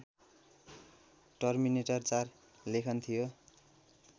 terminator ४ लेखन थियो